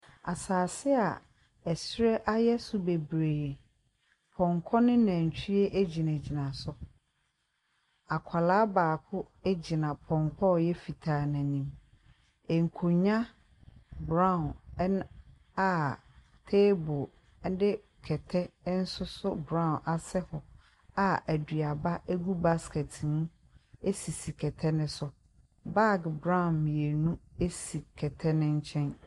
Asase a ɔsoro ayɛ so bebree. Pɔnkɔ ne nantwie gyinagyiana so. Akwaraa baako gyina pɔnkɔ a ɔyɛ fitaa no anim. Nkonnwa brown, ɛna aaa table ne kɛtɛ nsoso brown nso asɛ hɔ a aduaba gugu basket mu sisi kɛtɛ no so. Bag brown mmienu si kɛtɛ no nkyɛn.